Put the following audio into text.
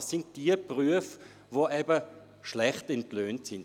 Es sind diejenigen Berufe, die schlecht entlohnt sind.